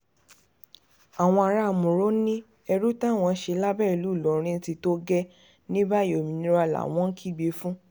àwọn ará mòró ní ẹrú táwọn ṣe lábẹ́ ìlú ìlọrin ti tó gẹ́ẹ́ ní báyìí òmìnira làwọn ń kígbe fún